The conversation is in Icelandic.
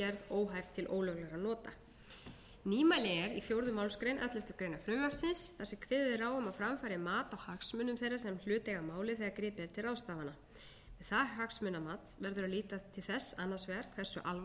óhæft til ólöglegra nota nýmæli er í fjórðu málsgrein elleftu greinar frumvarpsins þar sem kveðið er á um að fram fari mat á hagsmunum þeirra sem hlut eiga að máli þegar gripið er til ráðstafana við það hagsmunamat verður að líta til þess annars vegar hversu alvarlegt og